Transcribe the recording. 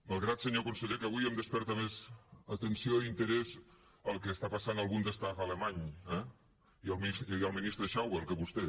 malgrat senyor conseller que avui em desperta més atenció i interès el que està passant al bundestag alemany i el ministre schäuble que vostè